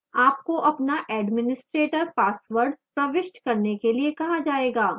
आपको अपना administrator password प्रविष्ट करने के लिए कहा जाएगा